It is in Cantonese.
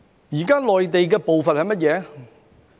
現時內地的步伐是甚麼呢？